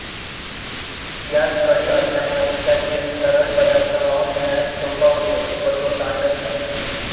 यास कडी असल्यामुळे त्यातील तरल पदार्थ वाहून नेण्यास सोपा होतो व तो सांडत नाही